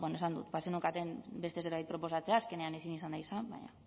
esan dut bazeneukaten beste zerbait proposatzea azkenean ezin izan da izan baina